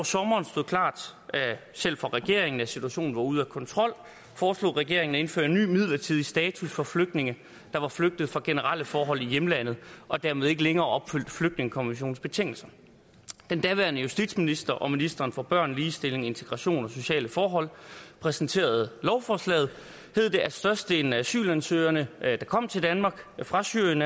sommeren stod klart selv for regeringen at situationen var ude af kontrol foreslog regeringen at indføre en ny midlertidig status for flygtninge der var flygtet fra generelle forhold i hjemlandet og dermed ikke længere opfyldte flygtningekonventionens betingelser da den daværende justitsminister og ministeren for børn ligestilling integration og sociale forhold præsenterede lovforslaget hed det at størstedelen af asylansøgerne der kommer til danmark fra syrien